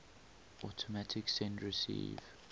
automatic send receive